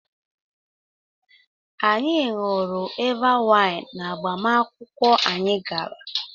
Anyị ṅụrụ Eva waịn n'agbamakwụkwọ anyị gara.